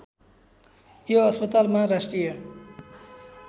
यो अस्पतालमा राष्ट्रिय